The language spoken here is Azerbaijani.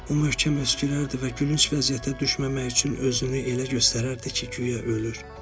O möhkəm öskürərdi və gülünc vəziyyətə düşməmək üçün özünü elə göstərərdi ki, güya ölür.